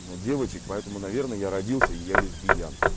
на девочек поэтому наверное я родился я и лесбиян